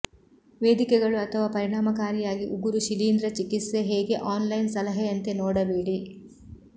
ವೇದಿಕೆಗಳು ಅಥವಾ ಪರಿಣಾಮಕಾರಿಯಾಗಿ ಉಗುರು ಶಿಲೀಂಧ್ರ ಚಿಕಿತ್ಸೆ ಹೇಗೆ ಆನ್ಲೈನ್ ಸಲಹೆಯಂತೆ ನೋಡಬೇಡಿ